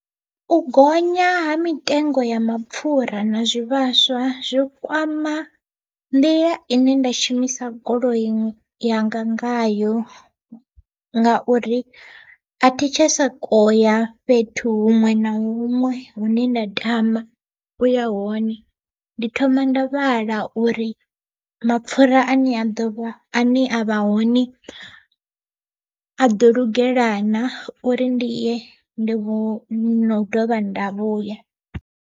U gonya ha mitengo ya mapfura na zwivhaswa zwi kwama nḓila ine nda shumisa goloi yanga ngayo, ngauri athi tsha sokou ya fhethu huṅwe na huṅwe hune nda tama u ya hone. Ndi thoma nda vhala uri mapfura ane a ḓovha ane a vha hone, a ḓo lugela na uri ndi ye ndi vhuye nau dovha nda vhuya.